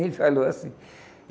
Ele falou assim.